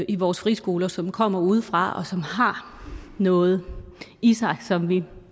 i vores friskoler som kommer udefra og som har noget i sig som vi